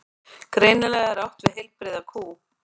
Greinilega er átt við heilbrigða kú.